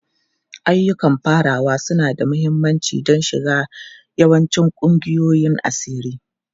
Ayyukan farawa suna da mahimmanci don shiga yawancin ƙungiyoyin asiri.